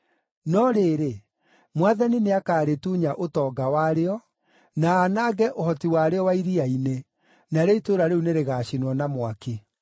No rĩrĩ, Mwathani nĩakarĩtunya ũtonga warĩo, na aanange ũhoti warĩo wa iria-inĩ, narĩo itũũra rĩu nĩrĩgacinwo na mwaki.